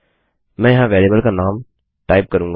मैं यहाँ वेरिएबल का नाम टाइप करूँगा